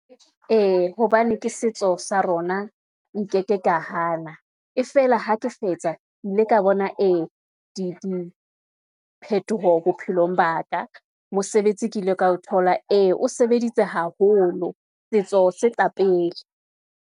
Ee, hobane ke setso sa rona, nkeke ka hana, e feela ha ke fetsa, ke ile ka bona ee di phetoho bophelong ba ka, mosebetsi ke ile ka o thola, ee o sebeditse haholo. Setso se tla pele.